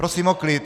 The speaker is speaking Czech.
Prosím o klid!